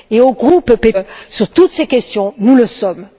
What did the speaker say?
Et au groupe PPE, sur toutes ces questions, nous le sommes.